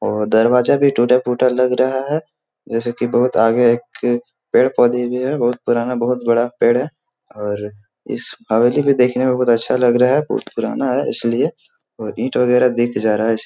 और दरवाजा भी टूटा-फूटा लग रहा है जैसे कि बहुत आगे एक पेड़-पौधे भी है बहुत पुराना बहुत बड़ा पेड़ है और इस हवेली में देखने में बहुत अच्छा लग रहा है बहुत पुराना है इसलिए और ईंट वगेरा देखे जा रहा है इस --